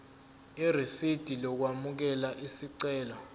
irisidi lokwamukela isicelo